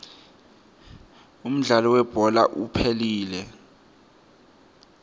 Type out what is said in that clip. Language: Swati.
umdlalo welibhola uphelile